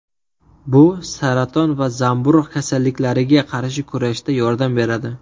Bu saraton va zamburug‘ kasalliklariga qarshi kurashda yordam beradi.